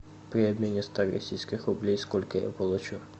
при обмене ста российских рублей сколько я получу